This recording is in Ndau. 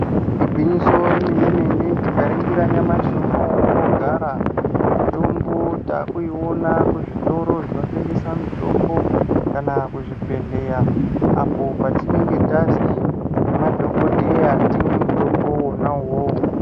Igwinyiso remene mene tikaningira nyamashi unowu patinogara mitombo takuiona kuzvitoro zvinotengesa mitombo kana kuzvibhedhlera apo patinenge tazi nemadhogodheya timwe mutombo wona iwowo.